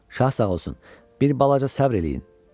Şah sağ olsun, bir balaca səbr eləyin.